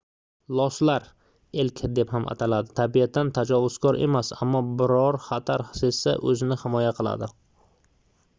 loslar elk deb ham ataladi tabiatan tajovuzkor emas ammo biror xatar sezsa o'zini himoya qiladi